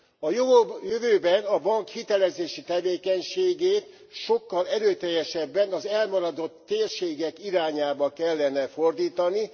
A jövőben a bank hitelezési tevékenységét sokkal erőteljesebben az elmaradott térségek irányába kellene fordítani.